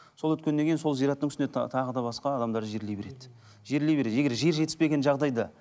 сол өткеннен кейін сол зираттың үстіне тағы да басқа адамдарды жерлей береді жерлей береді егер жер жетіспеген жағдайда